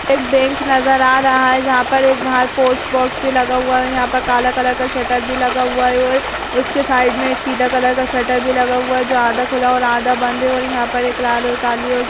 एक बैंक नजर आ रहा है जहां पर बाहर एक पोस्ट बॉक्स भी लगा हुआ है और यहाँ पर काला कलर का शटर भी लगा हुआ है और उसके साइड में एक पीला कलर का शटर भी लगा हुआ है जो आधा खुला और आधा बंद है और यहाँ पर एक लाल और काली और --